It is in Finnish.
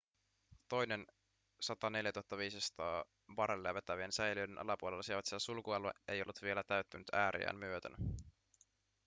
toinen 104 500 barrelia vetävien säiliöiden alapuolella sijaitseva sulkualue ei ollut vielä täyttynyt ääriään myöten